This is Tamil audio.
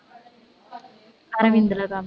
அரவிந்த்லதான்